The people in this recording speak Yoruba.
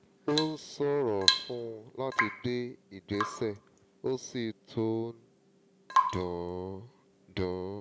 ó ń ṣòro fún un láti gbé ìgbésẹ̀ ó sì tún ń dùn dùn ún